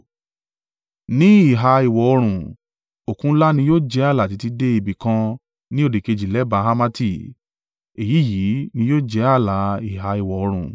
Ní ìhà ìwọ̀-oòrùn, Òkun ńlá ni yóò jẹ́ ààlà títí dé ibi kan ni òdìkejì lẹ́bàá Hamati. Èyí yìí ni yóò jẹ ààlà ìhà ìwọ̀-oòrùn.